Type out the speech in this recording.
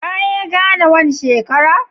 Ka ye Ghana wan shekara?